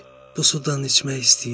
"Bu sudan içmək istəyirəm.